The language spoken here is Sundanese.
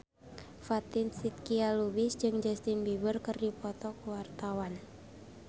Fatin Shidqia Lubis jeung Justin Beiber keur dipoto ku wartawan